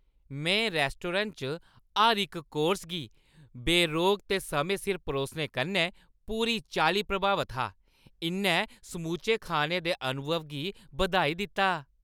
में रैस्टोरैंटै च हर इक कोर्स गी बेरोक ते समें सिर परोसने कन्नै पूरी चाल्ली प्रभावत हा; इʼन्नै समूचे खाने दे अनुभव गी बधाई दित्ता।